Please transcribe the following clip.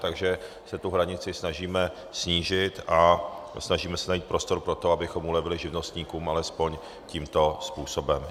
Takže se tu hranici snažíme snížit a snažíme se najít prostor pro to, abychom ulevili živnostníkům alespoň tímto způsobem.